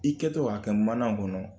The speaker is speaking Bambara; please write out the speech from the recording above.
I kɛtɔ k'a kɛ mana kɔnɔ